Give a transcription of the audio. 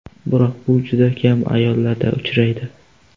Biroq bu juda kam ayollarda uchraydi.